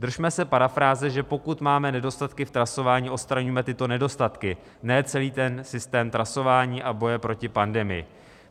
Držme se parafráze, že pokud máme nedostatky v trasování, odstraníme tyto nedostatky, ne celý ten systém trasování a boje proti pandemii.